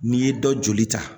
N'i ye dɔ joli ta